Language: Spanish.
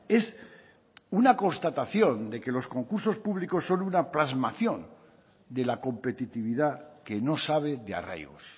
es una constatación de que los concursos públicos son una plasmación de la competitividad que no sabe de arraigos